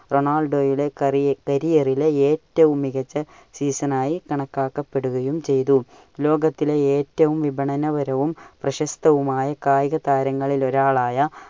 റൊണാൾഡോയുടെ caree~career ലെ ഏറ്റവും മികച്ച season ആയി കണക്കാക്കപ്പെടുകയും ചെയ്തു. ലോകത്തിലെ ഏറ്റവുo വിപണനപരവും പ്രശസ്തവുമായ കായികതാരങ്ങളിൽ ഒരാളായ